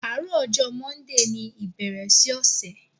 Aárọ̀ ọ̀jọ̀ mọ́ndíì ní ìbèérè sí ọṣẹ̀